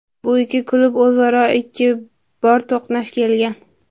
Bu ikki klub o‘zaro ikki bor to‘qnash kelgan.